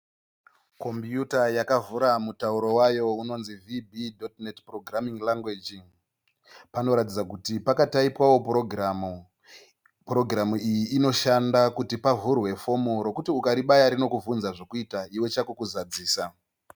Kombiyuta yavhura mutauro wayo unonzi vhibhidhotineti purogiramin'i rangweji. Panoratidza kuti pakataipwawo purogiramu. Purogiramu iyi inoshanda kuti pavhurwe fomu rokuti ukaribaya rinokuvhunza zvekuita iwe chako kuzadzisa.